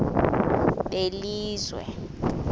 belizwe